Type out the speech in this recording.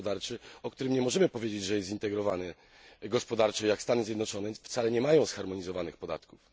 gospodarczy, o którym nie możemy powiedzieć, że jest zintegrowany gospodarczo, jak Stany Zjednoczone wcale nie ma zharmonizowanych podatków.